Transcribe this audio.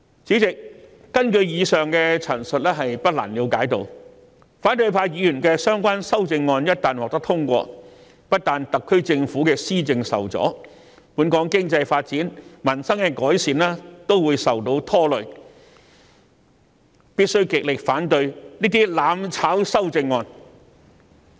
主席，根據以上所述，我們不難了解到，反對派議員的修正案一旦獲得通過，不但會令特區政府的施政受阻，本港的經濟發展、改善民生的工作亦會受到拖累，我們必須極力反對這些"攬炒"的修正案。